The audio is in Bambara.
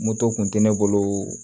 Moto kun tɛ ne bolo